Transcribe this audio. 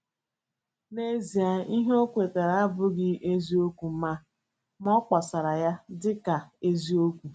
N’ezie, ihe o kwetara abụghị eziokwu, ma a, ma a kpọsara ya dị ka eziokwu.